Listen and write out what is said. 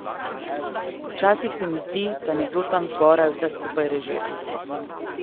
Včasih se mi zdi, da nekdo tam zgoraj vse skupaj režira.